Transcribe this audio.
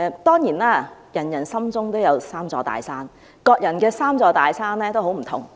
當然，每人心中都有"三座大山"，各人的"三座大山"亦不盡相同。